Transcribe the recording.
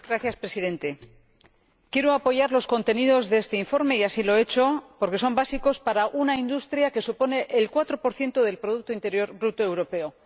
Señor Presidente, quiero apoyar los contenidos de este informe —y así lo he hecho— porque son básicos para una industria que supone el cuatro por ciento del producto interior bruto europeo.